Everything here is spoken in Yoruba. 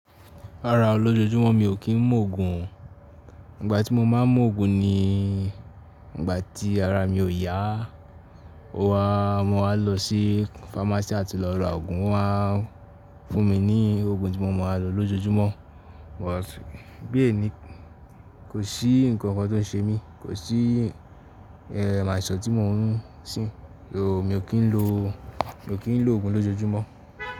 Rárá, lójojúmọ́ mi ò kí ń mú òògùn. Ìgbà tí mo máa ń mú òògùn ni ìgbà tí ara mi ò yá. Ó wá, mo wá lọ sí pharmacy àti lọ ra òògùn. Wọ́n á fún mi ní òògùn tí mo máa ń lò lójoojúmọ́. But bí èní, kò sí nǹkan kan tó ń ṣe mí, kò sí, e, àìsàn tí mò ń sìn. Mi ò kí ń lo, mi ò kí ń lo òògùn lójoojúmọ́.